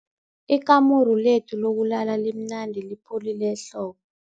Ikamuru lethu lokulala limnandi lipholile ehlobo.